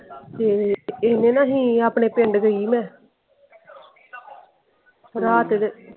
ਹਮ ਇਹਨੇ ਨਾਲ ਹੀ ਆਪਣੇ ਪਿੰਡ ਗਈ ਹੀ ਮੈਂ ਰਾਤ ਇਹਦੇ।